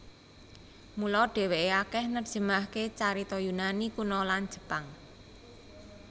Mula dheweke akeh nerjemahake carita Yunani Kuno lan Jepang